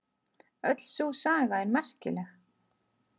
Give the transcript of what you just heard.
Öll sú saga er merkileg.